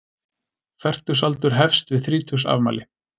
Fertugsaldur hefst við þrítugsafmæli.